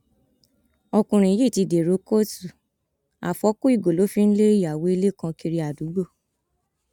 ọkùnrin yìí ti dèrò kóòtù àfọkù ìgò ló fi ń lé ìyàwó ilé kan kiri àdúgbò